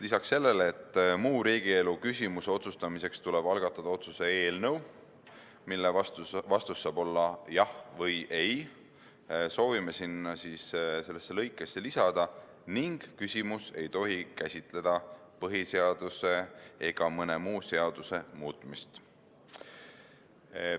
Lisaks sellele, et muu riigielu küsimuse otsustamiseks tuleb algatada otsuse eelnõu, mille vastus saab olla "jah" või "ei", soovime sellesse lõikesse lisada täienduse "ning küsimus ei tohi käsitleda põhiseaduse ega mõne muu seaduse muutmist".